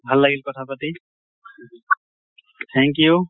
ভাল লাগিল কথা পাতি, thank you